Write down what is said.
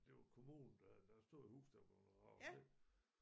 Det var kommunen der havde der havde stået et hus der var bleven revet ned